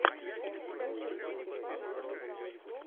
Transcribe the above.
эн стейша твенти файв лучший эпизод